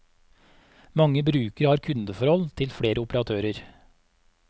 Mange brukere har kundeforhold til flere operatører.